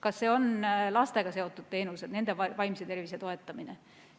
Kas need on lastega seotud teenused, nende vaimse tervise toetamine?